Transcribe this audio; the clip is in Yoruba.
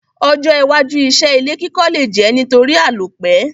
Ojó iwájú isé ilé kíkọ́ le je nítorí àlòpẹ́